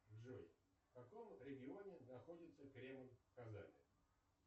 джой в каком регионе находится кремль в казани